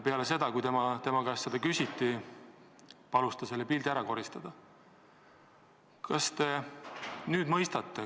Peale seda, kui tema käest seda küsiti, palus ta selle pildi ära koristada.